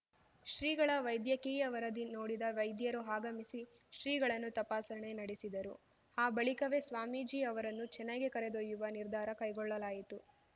ಶ್ರೀಗಳ ವೈದ್ಯಕೀಯ ವರದಿ ನೋಡಿದ ವೈದ್ಯರು ಆಗಮಿಸಿ ಶ್ರೀಗಳನ್ನು ತಪಾಸಣೆ ನಡೆಸಿದರು ಆ ಬಳಿಕವೇ ಸ್ವಾಮೀಜಿ ಅವರನ್ನು ಚೆನ್ನೈಗೆ ಕರೆದೊಯ್ಯುವ ನಿರ್ಧಾರ ಕೈಗೊಳ್ಳಲಾಯಿತು